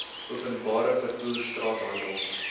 openbare vervoer straathandel